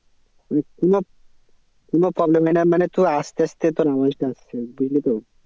মানে কোনো কোনো problem হয় না মানে তোর আস্তে আস্তে তোর আওয়াজটা আসছে বুঝলি তো।